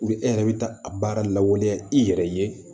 e yɛrɛ bɛ taa a baara lawaleya i yɛrɛ ye